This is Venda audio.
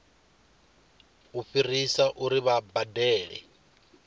u fhirisa uri vha badele